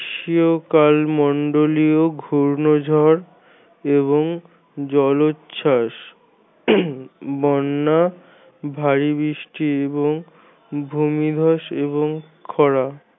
মন্ডলীয় ঘূর্ণঝড় এবং জলোচ্ছাস বন্যা ভারি বৃষ্টি এবং ভুমিধ্বস এবং খরা।